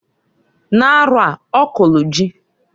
N'arọa, ọ kọlụ ji.